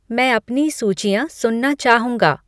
मैं अपनी सूचियाँ सुनना चाहूँगा